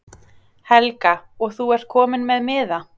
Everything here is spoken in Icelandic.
Helga: Og þú ert kominn með miða?